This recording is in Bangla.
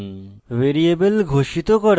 ভ্যারিয়েবল ঘোষিত করা